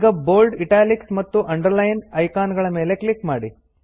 ಈಗ bold italics ಮತ್ತು underline icon ಗಳ ಮೇಲೆ ಕ್ಲಿಕ್ ಮಾಡಿ